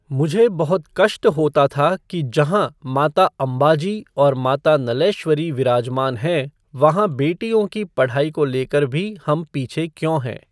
मुझे बहुत कष्ट होता था कि जहां माता अंबाजी और माता नलैश्वरी विराजमान हैं, वहां बेटियों की पढ़ाई को लेकर भी हम पीछे क्यों हैं?